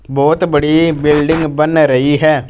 बहोत बड़ी बिल्डिंग बन रही है।